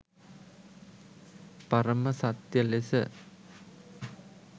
පරම සත්‍ය ලෙස